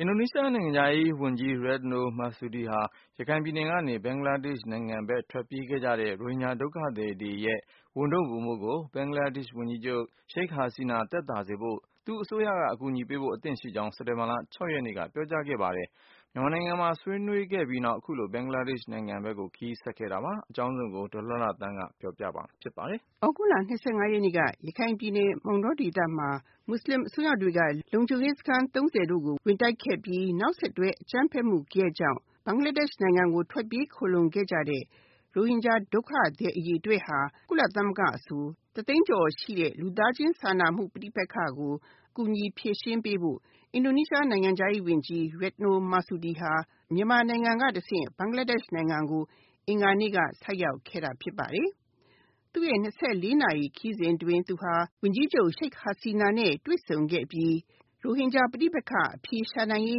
အင်ဒိုနီးရှား နိုင်ငံခြားရေး ဝန်ကြီး Retno Marsudi ဟာ ရခိုင်ပြည်နယ်ကနေ ဘင်္ဂလားဒေရှ့် နိုင်ငံဘက် ထွက်ပြေးခဲ့ကြတဲ့ ရိုဟင်ဂျာ ဒုက္ခသည်တွေရဲ့ ဝန်ထုပ်ဝန်ပိုးကို ဘင်္ဂလားဒေရှ့် ဝန်ကြီးချုပ် ရှိခ်ဟာဆီနာ သက်သာစေဖို့ သူ့အစိုးရက အကူအညီပေးဖို့ အသင့်ရှိကြောင်း စက်တင်ဘာလ ၆ ရက်နေ့က ပြောကြားခဲ့ပါတယ်။ မြန်မာနိုင်ငံမှာ ဆွေးနွေးခဲ့ပြီးနောက် အခုလို ဘင်္ဂလားဒေရှ့် နိုင်ငံဘက်ကို ခရီးဆက်ခဲ့တာပါ။ အကြောင်းစုံကို ဒေါ်လှလှသန်းက ပြောပြမှာ ဖြစ်ပါတယ်။ သြဂုတ်လ ၂၅ ရက်နေ့က ရခိုင်ပြည်နယ် မောင်တောဒေသမှာ မွတ်ဆလင် အစွန်းရောက်တွေက လုံခြုံရေးစခန်း ၃၀ တို့ကို ဝင်တိုက်ခဲ့ပြီး နောက်ဆက်တွဲ အကြမ်းဖက်မှု ဂယက်ကြောင့် ဘင်္ဂလားဒေ့ရှ်နိုင်ငံ ကို ထွက်ပြေးခိုလှုံခဲ့ကြတဲ့ ရိုဟင်ဂျာ ဒုက္ခသည် အရေအတွက်ဟာ ကုလသမဂ္ဂအဆို တသိန်းကျော်ရှိတဲ့ လူသားချင်းစာနာမှု ပဋိပက္ခကို ကူညီဖြေရှင်းပေးဖို့ အင်ဒိုနီးရှား နိုင်ငံခြားရေး ဝန်ကြီး Retno Marsudi ဟာ မြန်မာနိုင်ငံက တဆင့် ဘင်္ဂလားဒေ့ရှ် နိုင်ငံကို အင်္ဂါနေ့က ဆိုက်ရောက်ခဲ့တာ ဖြစ်ပါတယ်။ သူ့ရဲ့၂၄ နာရီ ခရီးစဉ် အတွင်း သူဟာ ဝန်ကြီးချုပ် ရှိတ်ဟာစီနာနဲ့ တွေ့ဆုံခဲ့ အပြီး ရိုဟင်ဂျာ ပဋိပက္ခ အဖြေရှာနိုင်ရေး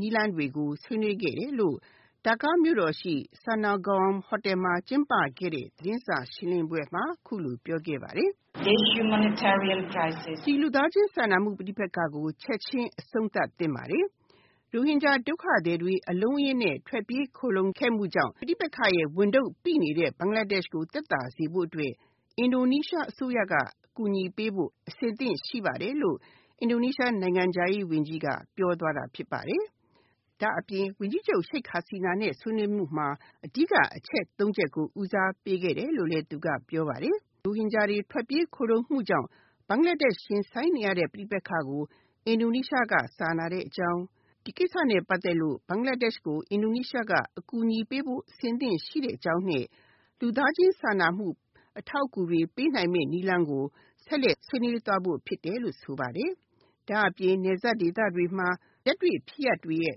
နည်းလမ်းတွေကို ဆွေးနွေးခဲ့တယ်လို့ ဒါကာမြို့တော်ရှိ ဆာနော်ဂွန် ဟိုတယ်မှာ ကျင်းပခဲ့တဲ့ သတင်းစာရှင်းလင်းပွဲမှာ အခုလို ပြောခဲ့ပါတယ်။ “ လူသားချင်း စာနာမှု ပဋိပက္ခကို ချက်ခြင်း အဆုံးသတ်သင့်ပါတယ်။ ရိုဟင်ဂျာ ဒုက္ခသည်တွေ အလုံးအရင်းနဲ့ ထွက်ပြေး ခိုလှုံခဲ့မှုကြောင့် ပဋိပက္ခရဲ့ဝန်ထုပ်ပိနေတဲ့ ဘင်္ဂလားဒေ့ရှ်ကို သက်သာစေဖို့အတွက် အင်ဒိုနီးရှား အစိုးရက အကူအညီပေးဖို့ အဆင်သင့် ရှိပါတယ်လို့ အင်ဒိုနီးရှား နိုင်ငံခြားရေး ဝန်ကြီးက ပြောသွားတာ ဖြစ်ပါတယ်။” ဒါ့အပြင် ဝန်ကြီးချုပ် ရှိခ်ဟာစီနာနဲ့ ဆွေးနွေးမှုမှာ အဓိက အချက် ၃ ချက်ကို ဦးစားပေးခဲ့တယ်လို့လည်း သူက ပြောပါတယ်။ ရိုဟင်ဂျာတွေ ထွက်ပြေးခိုလှုံမှုကြောင့် ဘင်္ဂလားဒေ့ရှ် ရင်ဆိုင်နေရတဲ့ ပဋိပက္ခကို အင်ဒိုနီးရှားက စာနာတဲ့အကြောင်း၊ ဒီကိစ္စနဲ့ပတ်သက်လို့ ဘင်္ဂလားဒေ့ရှ်ကို အင်ဒိုနီးရှားက အကူညီပေးဖို့ အဆင်သင့် ရှိတဲ့အကြောင်းနဲ့ လူသားချင်း စာနာမှု အထောက်အကူတွေ ပေးနိုင်မယ့် နည်းလမ်းကို ဆက်လက် ဆွေးနွေးသွားဖို့ ဖြစ်တယ်လို့ ဆိုပါတယ်။ ဒါ့အပြင် နယ်စပ်ဒေသတွေမှာ လက်တွေ့ဖြစ်ရပ်တွေရဲ့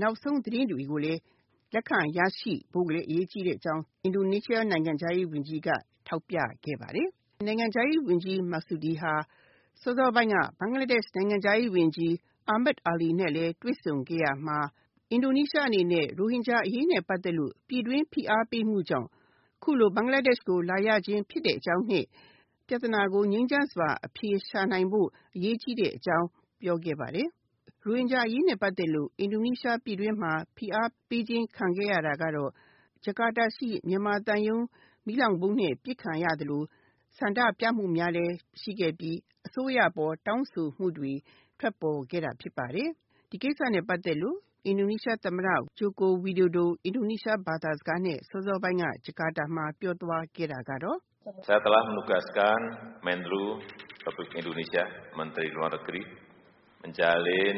နောက်ဆုံး သတင်းတွေကိုလည်း လက်ခံရရှိဖို့လည်း အရေးကြီးတဲ့ အကြောင်း အင်ဒိုနီးရှား နိုင်ငံခြားရေးဝန်ကြီးက ထောက်ပြခဲ့ပါတယ်။ နိုင်ငံခြားရေး ဝန်ကြီး Marsudi ဟာ စောစောပိုင်းက ဘင်္ဂလားဒေ့ရှ် နိုင်ငံခြားရေးဝန်ကြီး အာမက်အာလီနဲ့လည်း တွေ့ဆုံ ခဲ့ရာမှာ အင်ဒိုနီးရှားအနေနဲ့ ရိုဟင်ဂျာအရေးနဲ့ ပတ်သက်လို့ ပြည်တွင်းဖိအားပေးမှုကြောင့် ခုလို ဘင်္ဂလားဒေ့ရှ်ကို လာရခြင်း ဖြစ်တဲ့အကြောင်းနဲ့ ပြသနာကို ငြိမ်းချမ်းစွာ အဖြေရှာနိုင်ဖို့ အရေးကြီးတဲ့ အကြောင်း ပြောခဲ့ပါတယ်။ ရိုဟင်ဂျာအရေးနဲ့ ပတ်သက်လို့ အင်ဒိုနီးရှား ပြည်တွင်းမှာ ဖိအားပေးခြင်း ခံခဲ့ရတာကတော့ ဂျကာတာရှိ မြန်မာသံရုံး မီးလောင်ဗုံးနဲ့ ပစ်ခံ ရသလို ဆန္ဒပြမှုများလည်း ရှိခဲ့ပြီး အစိုးရအပေါ် တောင်းဆိုမှုတွေ ထွက်ပေါ်ခဲ့တာဖြစ်ပါတယ်။ ဒီကိစ္စနဲ့ ပတ်သက်လို့ အင်ဒိုနီးရှားသမ္မတ ဂျိုကိုဝီဒိုဒို အင်ဒိုနီးရှား ဘာသာစကားနဲ့ စောစောပိုင်းက ဂျကာတာမှာ ပြောသွားခဲ့ တာကတော့ “ ကုလသမဂ္ဂ အတွင်းရေး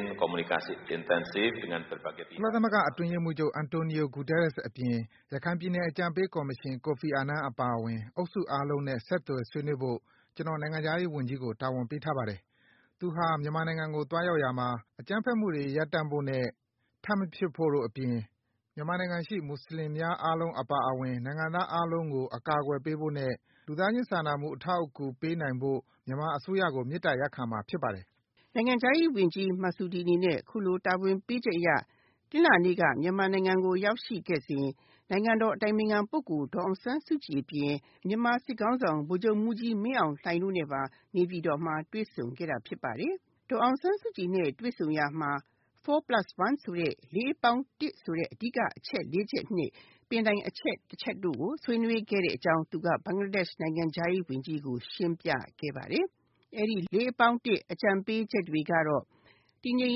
မှုးချုပ် အန်တိုနီယို ဂူတားရက်စ် အပြင် ရခိုင်ပြည်နယ် အကြံပေးကော်မရှင် ကိုဖီအာနန် အပါအဝင် အုပ်စုအားလုံးနဲ့ ဆက်သွယ်ဆွေးနွေးဖို့ ကျနော် နိုင်ငံခြားရေးဝန်ကြီးကို တာဝန်ပေးထားပါတယ်။ သူဟာ မြန်မာနိုင်ငံကို သွားရောက်ရာမှာ အကြမ်းဖက်မှုတွေ ရပ်တန့်ဖို့နဲ့ ထပ်မဖြစ်ဖို့ အပြင် မြန်မာနိုင်ငံရှိ မွတ်ဆလင်များ အားလုံး အပါအဝင် နိုင်ငံသားအားလုံးကို အကာအကွယ်ပေးဖို့နဲ့ လူသားချင်း စာနာမှု အထောက်အကူ ပေးနိုင်ဖို့ မြန်မာအစိုးရကိုမေတ္တာရပ်ခံမှာ ဖြစ်ပါတယ်။” နိုင်ငံခြားရေးဝန်ကြီး Marsudi အနေနဲ့ အခုလို တာဝန်ပေးချက် အရ တနင်္လာနေ့က မြန်မာနိုင်ငံ ကိုရောက်ရှိခဲ့စဉ် နိုင်ငံတော် အတိုင်ပင်ခံပုဂ္ဂိုလ် ဒေါ်အောင်ဆန်းစုကြည် အပြင် မြန်မာ စစ်ခေါင်းဆောင် ဗိုလ်ချုပ်မှုးကြီး မင်းအောင်လှိုင် တို့နဲ့ပါ နေပြည်တော်မှာ တွေ့ဆုံခဲ့တာ ဖြစ်ပါတယ်။ ဒေါ်အောင်ဆန်းစုကြည်နဲ့ တွေ့ဆုံရာမှာ 4+1 ဆိုတဲ့ ၄+၁ ဆိုတဲ့ အဓိက အချက် ၄ ချက်နဲ့ ပင်တိုင် အချက်တချက်တို့ကို ဆွေးနွေးခဲ့တဲ့ အကြောင်း သူက ဘင်္ဂလားဒေ့ရှ် နိုင်ငံခြားရေး ဝန်ကြီးကို ရှင်းပြခဲ့ပါတယ်။ အဲဒီ ၄+၁ အကြံပေးချက် တွေကတော့ တည်ငြိမ်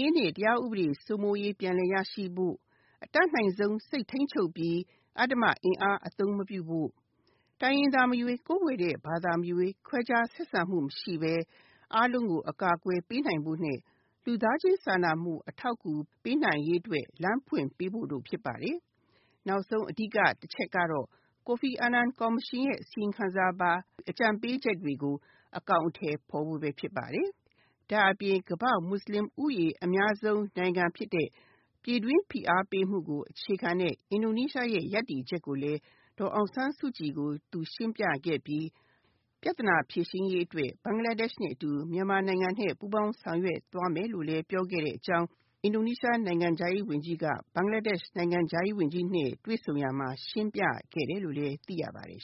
ရေးနဲ့ တရားဥပဒေ စိုးမိုးရေး ပြန်လည်ရရှိဖို့၊ အတတ်နိုင်ဆုံး စိတ်ထိန်းချုပ်ပြီး အဓမ္မအင်အား အသုံးမပြုဖို့၊ တိုင်းရင်းသား မရွေး ကိုးကွယ်တဲ့ ဘာသာမရွေး ခွဲခြားဆက်ဆံမှု မရှိပဲ အားလုံးကို အကာအကွယ် ပေးနိုင်ဖို့နဲ့ လူသားချင်းစာနာမှု အထောက်အကူ ပေးနိုင်ရေးအတွက် လမ်းဖွင့်ပေးဖို့တို့ ဖြစ်ပါတယ်။ နောက်ဆုံး အဓိက တချက်ကတော့ ကိုဖီအာနန် ကော်မရှင်ရဲ့ အစီရင်ခံစာပါ အကြံပေးချက်တွေကို အကောင်အထည်ဖေါ်ဖို့ပဲ ဖြစ်ပါတယ်။ ဒါ့အပြင် ကမ္ဘာ့အများဆုံးမွတ်ဆလင် ဦးရေ အများဆုံးနိုင်ငံဖြစ်တဲ့ ပြည်တွင်းဖိအား ပေးမှုကို အခြေခံတဲ့ အင်ဒိုနီးရှားရဲ့ ရပ်တည်ချက်ကိုလည်း ဒေါ်အောင်ဆန်းစုကြည်ကို သူရှင်းပြခဲ့ပြီး ပြသနာ ဖြေရှင်းရေး အတွက် ဘင်္ဂလားဒေ့ရှ်နဲ့ အတူ မြန်မာနိုင်ငံနဲ့ ပူးပေါင်းဆောင်ရွက် သွားမယ်လို့ ပြောခဲ့တဲ့အကြောင်း အင်ဒိုနီးရှား နိုင်ငံခြားရေး ဝန်ကြီးက ဘင်္ဂလားဒေ့ရှ် နိုင်ငံခြားရေးဝန်ကြီးနဲ့ တွေ့ဆုံရာမှာ ရှင်းပြခဲ့တယ်လို့လည်း သိရပါတယ်